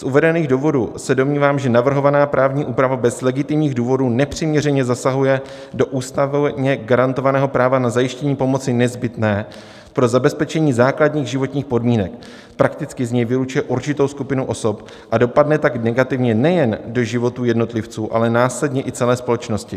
Z uvedených důvodů se domnívám, že navrhovaná právní úprava bez legitimních důvodů nepřiměřeně zasahuje do ústavně garantovaného práva na zajištění pomoci nezbytné pro zabezpečení základních životních podmínek, prakticky z něj vylučuje určitou skupinu osob, a dopadne tak negativně nejen do životů jednotlivců, ale následně i celé společnosti.